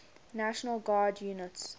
national guard units